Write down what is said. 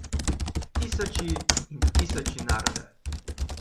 Tisoči in tisoči naroda.